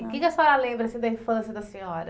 O que que a senhora lembra assim da infância da senhora?